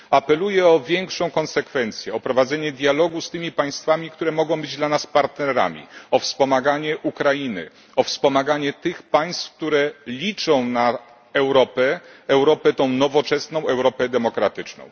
Apeluję o większą konsekwencję, o prowadzenie dialogu z tymi państwami, które mogą być dla nas partnerami, o wspomaganie Ukrainy, o wspomaganie tych państw, które liczą na Europę Europę nowoczesną, Europę demokratyczną.